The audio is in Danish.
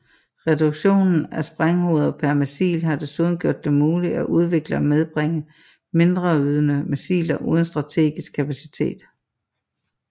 Reduktionen af sprænghoveder per missil har desuden gjort det muligt at udvikle og medbringe mindreydende missiler uden strategisk kapacitet